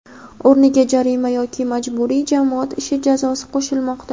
o‘rniga jarima yoki majburiy jamoat ishi jazosi qo‘shilmoqda.